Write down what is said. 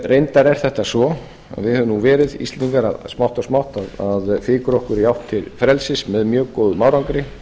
reyndar er það svo að við höfum verið íslendingar smátt og smátt að fikra okkur í átt til frelsis með mjög góðum árangri